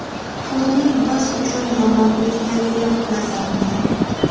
Turnir biz uchun yomon o‘tgani yo‘q, nazarimda.